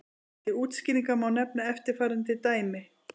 Til útskýringar má nefna eftirfarandi dæmi.